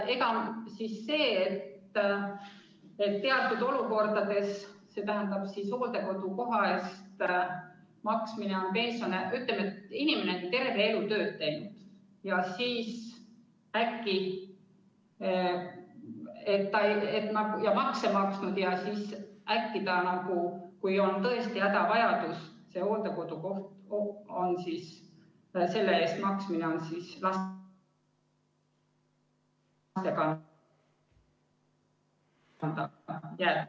Aga teatud olukordades, ütleme, kui inimene on terve elu tööd teinud ja makse maksnud, aga siis, kui tal on tõesti hädavajadus, on hooldekodukoha eest maksmine laste kanda jäetud.